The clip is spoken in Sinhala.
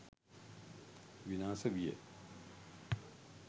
විනාශ විය.